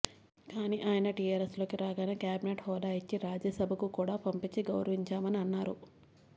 కానీ ఆయన టీఆర్ఎస్ లోకి రాగానే క్యాబినెట్ హోదా ఇచ్చి రాజ్యసభకు కూడా పంపించి గౌరవించామని అన్నారు